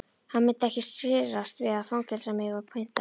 Hann myndi ekki skirrast við að fangelsa mig og pynta.